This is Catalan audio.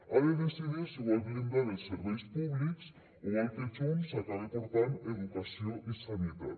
ha de decidir si vol blindar els serveis públics o vol que junts acabe portant educació i sanitat